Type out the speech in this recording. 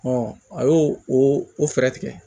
a y'o o fɛɛrɛ tigɛ